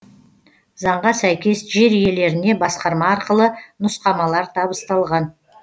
заңға сәйкес жер иелеріне басқарма арқылы нұсқамалар табысталған